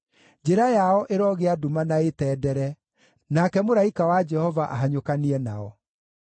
njĩra yao ĩrogĩa nduma na ĩtendere, nake mũraika wa Jehova ahanyũkanie nao.